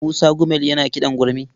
Musa Gumel yana kiɗan gurmi.